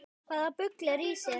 Hvaða bull er í þér?